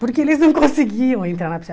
Porque eles não conseguiam entrar na piscina.